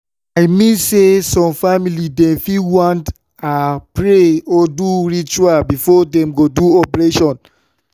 i mean say some family dem fit want ah pray or do ritual before dem go do operation